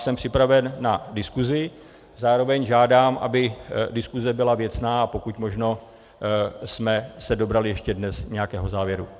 Jsem připraven na diskusi, zároveň žádám, aby diskuse byla věcná a pokud možno jsme se dobrali ještě dnes nějakého závěru.